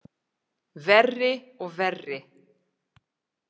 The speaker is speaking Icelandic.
Verri og verri.